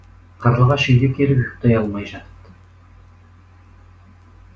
қарлығаш үйге келіп ұйықтай алмай жатыпты